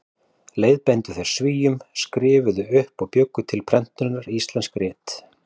Leiðbeindu þeir Svíum, skrifuðu upp og bjuggu til prentunar íslensk rit.